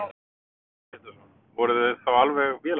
Heimir Már Pétursson: Voruð þið þá alveg vélarvana?